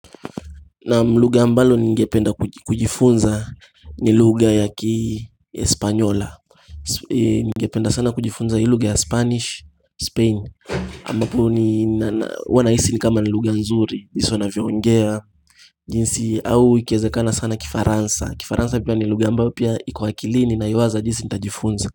Naam lugha ambalo ningependa kujifunza ni lugha ya kiespanyola Ningependa sana kujifunza hii lugha ya spanish, spain ambapo huwa nahisi ni kama ni lugha nzuri, jinsi wanavyoongea jinsi au ikiwezekana sana kifaransa, kifaransa pia ni lugha ambao pia iko akilini naiwaza jinsi nitajifunza.